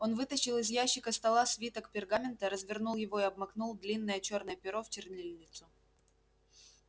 он вытащил из ящика стола свиток пергамента развернул его и обмакнул длинное чёрное перо в чернильницу